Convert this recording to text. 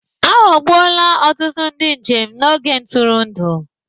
A ghọgbuola ọtụtụ ndị njem n'ogige ntụrụndụ